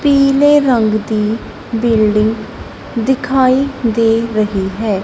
ਰੰਗ ਦੀ ਬਿਲਡਿੰਗ ਦਿਖਾਈ ਦੇ ਰਹੀ ਹੈ।